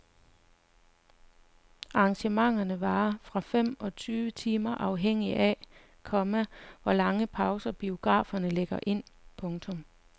Arrangementerne varer fra fem til syv timer afhængig af, komma hvor lange pauser biograferne lægger ind. punktum